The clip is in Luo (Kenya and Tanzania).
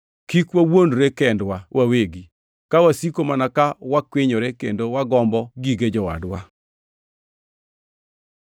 Kik wawuondre kendwa wawegi, ka wasiko mana ka wakwinyore kendo wagombo gige jowadwa.